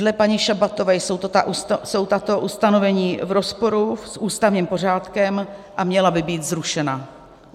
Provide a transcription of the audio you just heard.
Dle paní Šabatové jsou tato ustanovení v rozporu s ústavním pořádkem a měla by být zrušena.